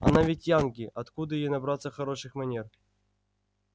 она ведь янки откуда ей набраться хороших манер